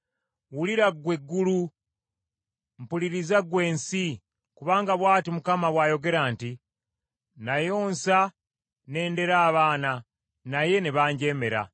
Wulira ggwe eggulu, mpuliriza ggwe ensi, kubanga bw’ati Mukama bw’ayogera nti, “Nayonsa ne ndera abaana naye ne banjeemera.